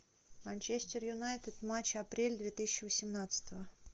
манчестер юнайтед матч апрель две тысячи восемнадцатого